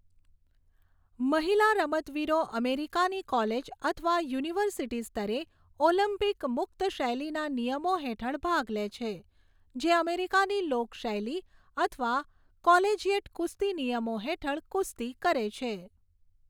મહિલા રમતવીરો અમેરિકાની કોલેજ અથવા યુનિવર્સિટી સ્તરે ઓલિમ્પિક મુક્તશૈલીના નિયમો હેઠળ ભાગ લે છે, જે અમેરિકાની લોક શૈલી અથવા કોલેજિયેટ કુસ્તી નિયમો હેઠળ કુસ્તી કરે છે.